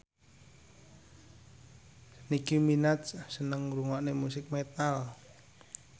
Nicky Minaj seneng ngrungokne musik metal